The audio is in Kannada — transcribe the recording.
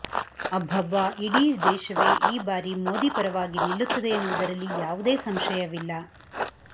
ಅಬ್ಬಬ್ಬಾ ಇಡೀ ದೇಶವೇ ಈ ಬಾರಿ ಮೋದಿ ಪರವಾಗಿ ನಿಲ್ಲುತ್ತದೆ ಎನ್ನುವುದರಲ್ಲಿ ಯಾವುದೇ ಸಂಶಯವಿಲ್ಲ